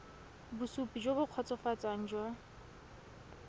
bosupi jo bo kgotsofatsang jwa